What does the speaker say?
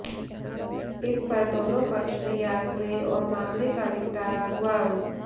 इस पर दोनों पक्ष तैयार हुए और मामले का निपटारा हुआ